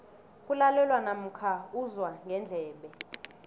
kulalelwa namkha uzwa ngendlebe